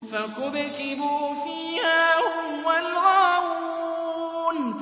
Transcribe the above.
فَكُبْكِبُوا فِيهَا هُمْ وَالْغَاوُونَ